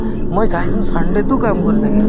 মই চাইছো sunday তো কাম কৰি থাকে